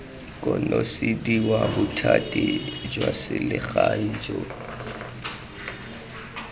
konosediwa bothati jwa selegae jo